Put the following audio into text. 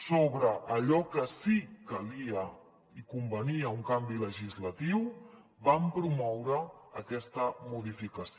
sobre allò que sí que calia i convenia un canvi legislatiu vam promoure aquesta modificació